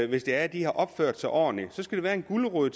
hvis det er at de har opført sig ordentligt der skal være en gulerod